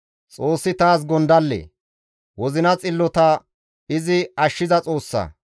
Xoossi taas gondalle; wozina xillota izi ashshiza Xoossa.